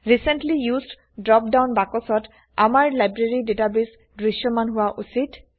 recently used drop down বাক্সত আমাৰ library database দৃশ্যমান হোৱা উচিত